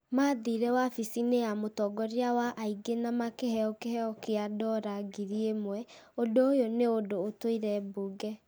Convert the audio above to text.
mathire wabici-inĩ ya mũtongoria wa aingĩ na makĩheo kĩheo gĩa dora ngiri ĩmwe , ũndũ ũyũ nĩ ũndũ ũtuĩre mbunge.